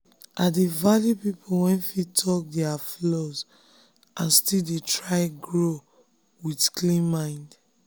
i dey value people wey fit talk their flaws and still dey try grow with clean mind.